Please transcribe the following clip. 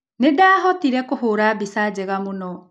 Nĩ ndaahotire kũhũũra mbica njega mũno.